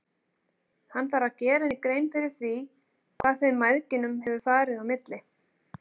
Hann þarf að gera henni grein fyrir því hvað þeim mæðginum hefur farið á milli.